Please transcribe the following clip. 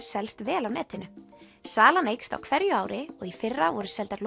selst vel á netinu salan eykst á hverju ári og í fyrra voru seldar